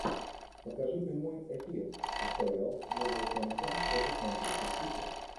покажи прямой эфир апл вулверхэмптон против манчестер сити